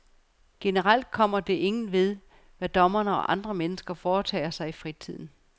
Generelt kommer det ingen ved, hvad dommere og andre mennesker foretager sig i fritiden.